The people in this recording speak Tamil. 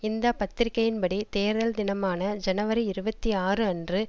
இந்த பத்திரிகையின் படி தேர்தல் தினமான ஜனவரி இருபத்தி ஆறு அன்று